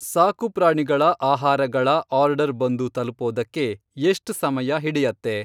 ಸಾಕುಪ್ರಾಣಿಗಳ ಆಹಾರಗಳ ಆರ್ಡರ್ ಬಂದು ತಲುಪೋದಕ್ಕೆ ಎಷ್ಟ್ ಸಮಯ ಹಿಡಿಯತ್ತೆ?